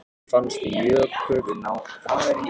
En fannst Jökli þetta vera víti?